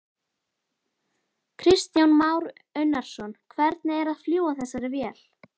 Kristján Már Unnarsson: Hvernig er að fljúga þessari vél?